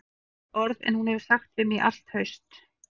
Fleiri orð en hún hefur sagt við mig í allt haust